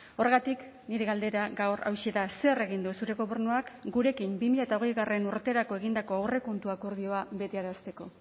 horregatik nire galdera gaur hauxe da zer egin du zure gobernuak gurekin bi mila hogei urterako egindako aurrekontu akordioa betearazteko